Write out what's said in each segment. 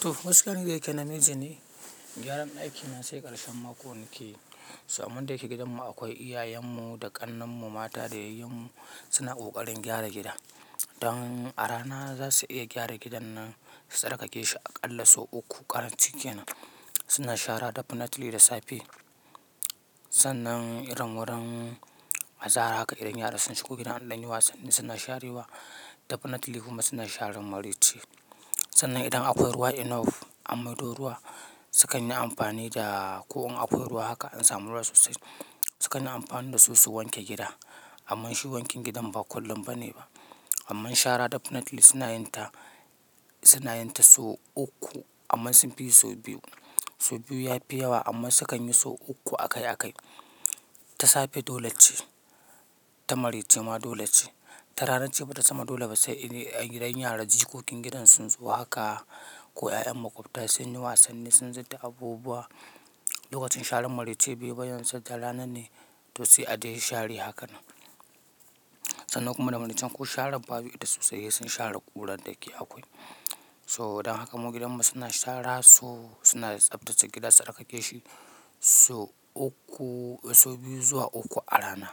Toh, gaskiya ni da yake namiji ne, gyaran ɗaki na sai ƙarshen mako nake yi. So amman da yake gidanmu akwai iyayenmu da ƙannanmu mata da yayyanmu suna ƙoƙarin gyara gida. Dan a rana za su iya gyara gidan nan, tsarkake shi aƙalla sau uku ƙarancinkenan. Suna shara Definitely da Safe. Sannan irin wurin azahar haka idan yara sun shigo gidan an ɗan yi wasanni suna sharewa, Definitely kuma suna sharewa Maraice. Sannan idan akwai ruwa enough amma dole ruwa sukan yi amfani da ko in akwai ruwa haka an samu ruwa sosai, sukan yi amfani da su su wanke gida. Amma shi wankin gidan ba kullum ba ne ba. Amma shara Definitely suna yin ta, suna yin ta sau uku amma sun fi yi sau biyu. Sau biyu ya fi yawa amma sukan yi sau uku akai akai. Ta Safe dole ce, ta Maraice ma dole ce. Ta ranar ce bata zama dole ba sai idan yaran jikokin gidan sun zo haka ko ƴaƴan maƙwabta sun yi wasanni sun zudda abubuwa. Lokacin sharan Maraice baiyi ba yanzu da ranan ne to sai a dai share haka nan. Sannan kuma da Maraice ko sharan babu ita sosai, sun share ƙurar da yake akwai. So idan haka mu gidanmu suna shara so suna tsaftace gida, tsarkake shi so uku, sau biyu zuwa uku a rana.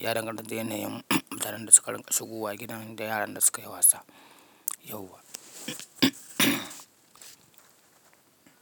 Ya danganta da yanayin yaran da suka rinƙ shigowa gidan da yaran da suka yi wasa yauwa.